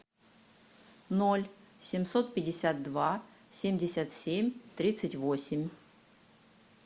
ноль семьсот пятьдесят два семьдесят семь тридцать восемь